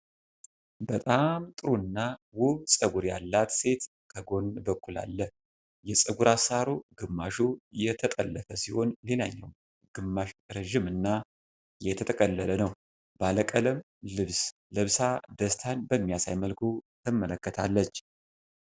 በጣም ጥሩ እና ውብ ፀጉር ያላት ሴት ከጎን በኩል አለ። የፀጉር አሠራሩ ግማሹ የተጠለፈ ሲሆን፣ ሌላኛው ግማሽ ረጅም እና የተጠቀለለ ነው። ባለ ቀለም ልብስ ለብሳ ደስታን በሚያሳይ መልኩ ትመለከታለች።